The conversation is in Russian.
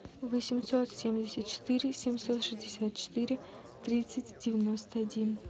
восемьсот семьдесят четыре семьсот шестьдесят четыре тридцать девяносто один